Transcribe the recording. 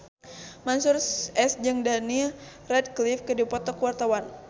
Mansyur S jeung Daniel Radcliffe keur dipoto ku wartawan